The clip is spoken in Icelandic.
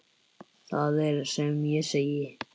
Það er sem ég segi.